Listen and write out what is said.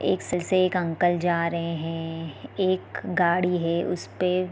एक साइकिल से अंकल जा रहे हैं एक गाड़ी है उसे पे --